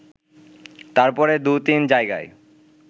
তারপরে দু তিন জায়গায়